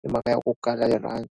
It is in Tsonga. hi mhaka ya ku kala rirhandzu.